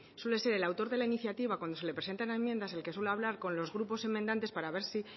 suele ser el autor de la iniciativa cuando se le presenta en la enmienda es el que suele hablar con los grupos enmendantes para ver si